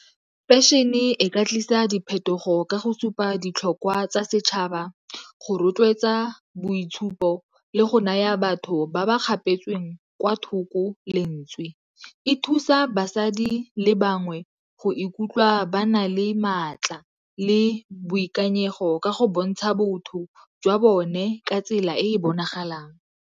Fashion-e ka tlisa diphetogo ka go supa ditlhokwa tsa setšhaba, go rotloetsa boitshupo le go naya batho ba ba kgapetsweng kwa thoko lentswe. E thusa basadi le bangwe go ikutlwa ba na le maatla le boikanyego ka go bontsha botho jwa bone ka tsela e bonagalang.